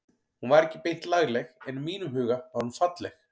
Hún var ekki beint lagleg en í mínum huga var hún falleg.